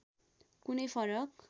कुनै फरक